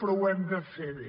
però ho hem de fer bé